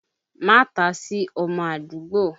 Ma ta sí ọmọ àdúgbò!